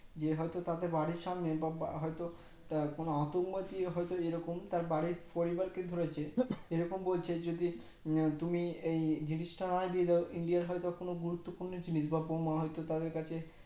নিয়ে হয় তো তাদের বাড়ির সামনে হয় তো কোনো আতঙ্কবাদী হয় তো এই রকম তার বাড়ির পরিবারকে ধরেছে এই রকম বলছে যদি তুমি এই জিনিসটা হয় দিয়ে দাও India হয় বা কোনো গুরুত্বপূর্ণ জিনিস বা বোমা হয় তো তাদের কাছে